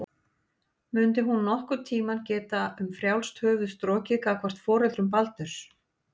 Mundi hún nokkurn tíma geta um frjálst höfuð strokið gagnvart foreldrum Baldurs?